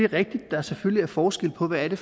rigtigt at der selvfølgelig er forskel på hvad det